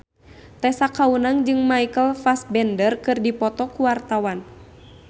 Tessa Kaunang jeung Michael Fassbender keur dipoto ku wartawan